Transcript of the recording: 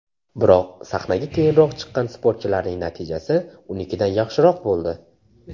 Biroq sahnaga keyinroq chiqqan sportchilarning natijasi unikidan yaxshiroq bo‘ldi.